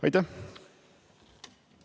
Aitäh!